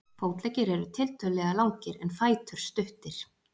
fótleggir eru tiltölulega langir en fætur stuttir